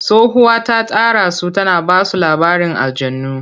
Tsohuwa ta tara su tana ba su labarin aljannu.